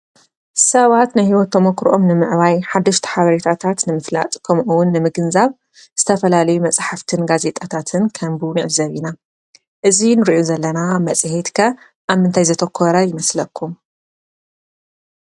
ሰባት ናይ ሂወት ተሞክሮኦም ንምዕባይ ሓደሽቲ ሓበሬታታት ንምፍላጥ ከምኡ እውን ንምግንዛብ ዝተፈላለዩ መፅሓፍትን ጋዜጣታትን ከንብቡ ንዕዘብ ኢና። እዚ ንሪኦ ዘለና መፅሄት ከ አብ ምንታይ ዘተኮረ ይመስለኩም?